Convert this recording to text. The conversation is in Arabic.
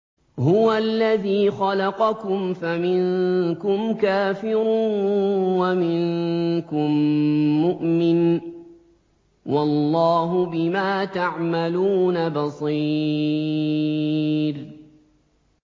هُوَ الَّذِي خَلَقَكُمْ فَمِنكُمْ كَافِرٌ وَمِنكُم مُّؤْمِنٌ ۚ وَاللَّهُ بِمَا تَعْمَلُونَ بَصِيرٌ